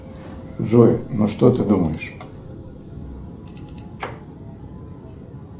джой ну что ты думаешь